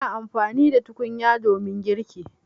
Ina amfani da tukunya domin girki.